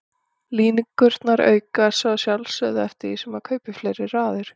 Líkurnar aukast svo að sjálfsögðu eftir því sem maður kaupir fleiri raðir.